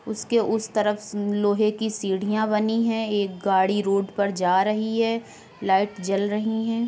उसके उस तरफ उ लोहे की सीढ़ियां बनी है एक गाड़ी रोड पर जा रही है। लाइट जल रही हैं।